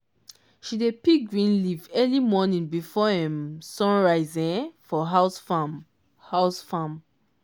she dey pick green leaf early morning before um sun rise um for house farm. house farm.